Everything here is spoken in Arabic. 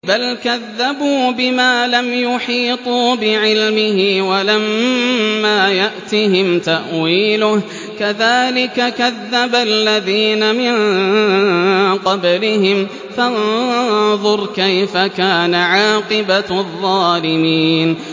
بَلْ كَذَّبُوا بِمَا لَمْ يُحِيطُوا بِعِلْمِهِ وَلَمَّا يَأْتِهِمْ تَأْوِيلُهُ ۚ كَذَٰلِكَ كَذَّبَ الَّذِينَ مِن قَبْلِهِمْ ۖ فَانظُرْ كَيْفَ كَانَ عَاقِبَةُ الظَّالِمِينَ